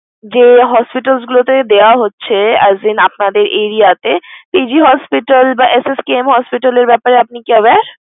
যে hospital গুলোতে দেয়া হচ্ছে as in আপনাদের area তে, PG hospital বা SSKM hospital এর ব্যাপারে আপনি কি aware?